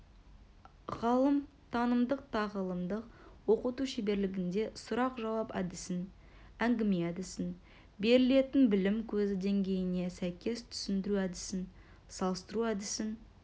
ғалым танымдық-тағылымдық оқыту шеберлігінде сұрақ-жауап әдісін әңгіме әдісін берілетін білім көзі деңгейіне сәйкес түсіндіру әдісін салыстыру әдісін